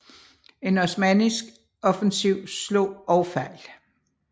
En osmannisk offensiv slog også fejl